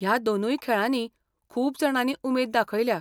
ह्या दोनूय खेळांनी खूब जाणांनी उमेद दाखयल्या.